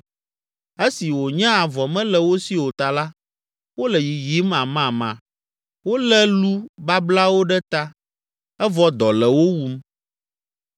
Esi wònye avɔ mele wo si o ta la, wole yiyim amama, wolé lu bablawo ɖe ta, evɔ dɔ le wo wum.